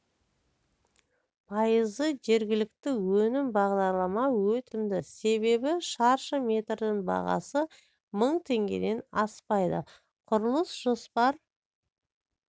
пайызы жергілікті өнім бағдарлама өте қолжетімді себебі шаршы метрдің бағасы мың теңгеден аспайды құрылыс жоспар